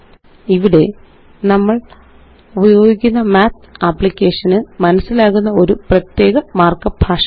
ഇവിടെ നമ്മള് ഉപയോഗിക്കുക മാത്ത് അപ്ലിക്കേഷന് മനസ്സിലാകുന്ന ഒരു പ്രത്യേക മാര്ക്കപ്പ് ഭാഷയാണ്